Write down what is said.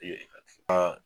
Bi yen a